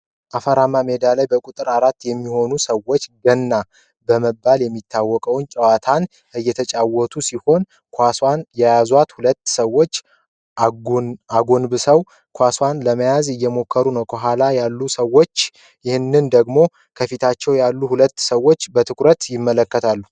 አፈራማ ሜዳ ላይ በቁጥር አራት የሚሆኑ ሰዎች "ገና" በመባል የሚታውቅ ጨዋታን እየተጫወቱ ሲሆን፤ ኳሷን የያዟት ሁለት ሰዎች አጎንብሰው ኳሷን ለመያዝ እየሞከሩ ነው ከኋላ ያሉት ሰዎችህ ደግሞ ከፊታቸው ያሉትን ሁለት ሰዎች በአትኩሮት ይመለከታሉ።